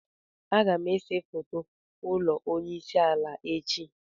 Agam ese foto ulo onye isi ala echi.